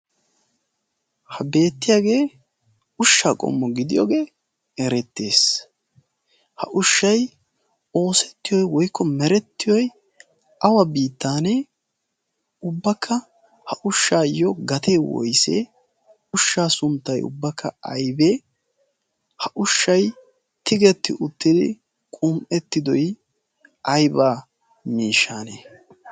ha beettiyaagee ushsha qommo gidiyoogee erettees. ha ushshay oosettiyoi woykko merettiyoy awa biittaanee ubbakka ha ushshaayyo gatee woisee ushshaa sunttai ubbakka aibee ha ushshai tigetti uttidi qum'ettidoi aybaa miishshanee?